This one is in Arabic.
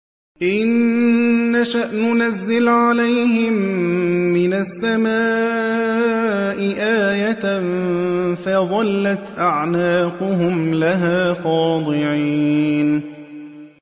إِن نَّشَأْ نُنَزِّلْ عَلَيْهِم مِّنَ السَّمَاءِ آيَةً فَظَلَّتْ أَعْنَاقُهُمْ لَهَا خَاضِعِينَ